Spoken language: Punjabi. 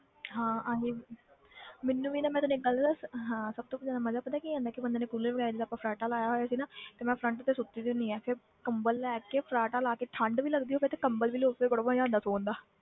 ਹਾਂ ਆਹੀ ਮੈਨੂੰ ਵੀ ਨਾ ਮੈਂ ਤੈਨੂੰ ਇੱਕ ਗੱਲ ਦੱਸਾਂ ਹਾਂ ਸਭ ਤੋਂ ਜ਼ਿਆਦਾ ਮਜ਼ਾ ਪਤਾ ਕੀ ਆਉਂਦਾ ਹੈ ਕਿ ਬੰਦੇ ਨੇ cooler ਵਗ਼ੈਰਾ ਜਿੱਦਾਂ ਆਪਾਂ ਫਰਾਟਾ ਲਾਇਆ ਹੋਇਆ ਸੀ ਨਾ ਤੇ ਮੈਂ front ਤੇ ਸੁੱਤੀ ਹੁੰਦੀ ਹਾਂ ਫਿਰ ਕੰਬਲ ਲੈ ਕੇ ਫਰਾਟਾ ਲਾ ਕੇ ਠੰਢ ਵੀ ਲੱਗਦੀ ਹੋਵੇ ਤੇ ਕੰਬਲ ਵੀ ਓੜ ਕੇ ਬੜਾ ਮਜ਼ਾ ਆਉਂਦਾ ਸੌਣ ਦਾ